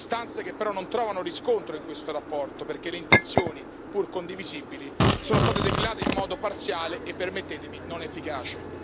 Istanze che però non trovano riscontro in questa relazione, perché le intenzioni, pur condivisibili, sono state declinate in modo parziale e, permettetemi, non efficace.